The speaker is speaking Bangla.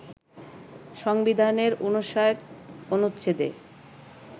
সংবিধানের ৫৯ অনুচ্ছেদে